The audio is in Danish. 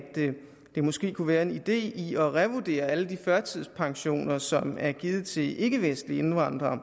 der måske kunne være en idé i at revurdere alle de førtidspensioner som er givet til ikkevestlige indvandrere